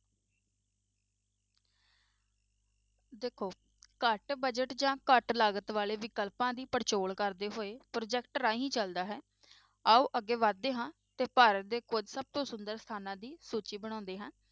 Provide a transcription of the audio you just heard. ਦੇਖੋ ਘੱਟ budget ਜਾਂ ਘੱਟ ਲਾਗਤ ਵਾਲੇ ਵਿਕਲਪਾਂ ਦੀ ਪੜਚੋਲ ਕਰਦੇ ਹੋਏ project ਰਾਹੀਂ ਚੱਲਦਾ ਹੈ, ਆਓ ਅੱਗੇ ਵੱਧਦੇ ਹਾਂ ਤੇ ਭਾਰਤ ਦੇ ਕੁੱਝ ਸਭ ਤੋਂ ਸੁੰਦਰ ਸਥਾਨਾਂ ਦੀ ਸੂਚੀ ਬਣਾਉਂਦੇ ਹਾਂ।